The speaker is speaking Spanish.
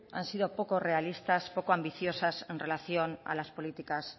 han sido poco realistas poco ambiciosas en relación a las políticas